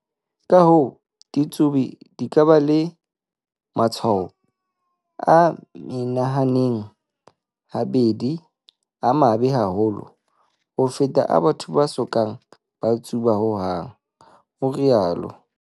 Ka-hoo, ditsubi di ka ba le matshwao a menahaneng habedi a mabe haholo ho feta a batho ba so kang ba tsuba hohang, ho rialo